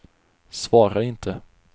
svara inte